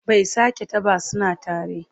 Bai sake ta ba suna tare.